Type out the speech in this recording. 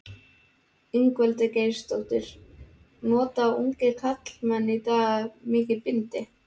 Ingveldur Geirsdóttir: Nota ungir karlmenn í dag mikið bindi?